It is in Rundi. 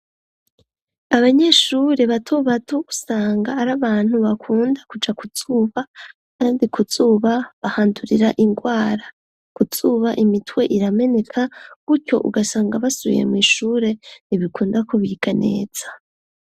Abanyeshuri batubatosanga ari abantu bakunda kuja kuzuba, kandi kuzuba bahandurira ingwara kusuba imitwe irameneka gutyo ugasanga basuye mw'ishure ntibikunda kubika neza.